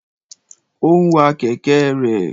O n wa kẹ̀kẹ́ rẹ̀.